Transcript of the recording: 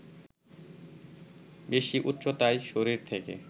বেশি উচ্চতায় শরীর থেকে